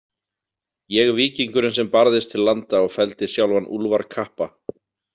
Ég víkingurinn sem barðist til landa og felldi sjálfan Úlfar kappa.